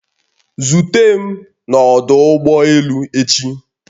Zute m n'ọdụ ụgbọ elu echi!